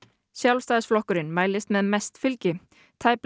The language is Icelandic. Sjálfstæðisflokkurinn mælist með mest fylgi tæplega